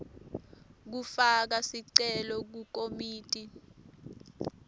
kufaka sicelo kukomiti